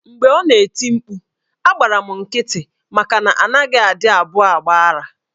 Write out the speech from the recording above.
Mgbe ọ nọ na-eti mkpu, agbara m nkịtị maka na a naghị adị abụọ agba ara.